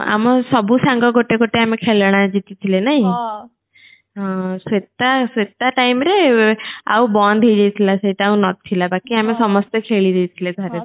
ଆମ ସବୁ ସାଙ୍ଗ ଗୋଟେଗୋଟେ ଆମେ ଖେଳନା ଜିତି ଥିଲେ ନାହିଁ ହଁ ସ୍ବେତା ସ୍ବେତା time ରେ ଆଉ ବନ୍ଦ ହେଇ ଯାଇଥିଲେ ସେଇଟା ଆଉ ନଥିଲା ବାକି ଆମେ ସମସ୍ତେ ଖେଳି ଦେଇଥିଲେ ଥରେ ଥରେ